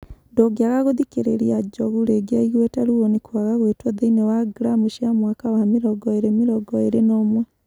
Ndũngiaga gũthikĩrĩria Njogu rĩngĩ aiguite ruo nĩ kwaga guitwo thĩini wa gramu cia mwaka wa mĩrongo ĩĩri mĩrongo ĩĩri na ũmwe